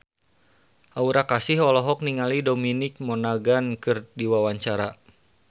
Aura Kasih olohok ningali Dominic Monaghan keur diwawancara